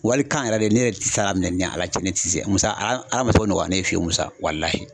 Walikan yɛrɛ de ne yɛrɛ tɛ se k'a minɛ ni Ala cɛn, ne ti se Musa Ala ma s'o nɔgɔya ne ye fiyewu Musa